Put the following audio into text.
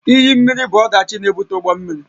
Iyi mmiri bụ ọdachi na-ebute ụgbọ mmiri